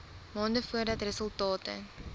maande voordat resultate